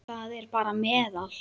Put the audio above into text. Það er bara meðal.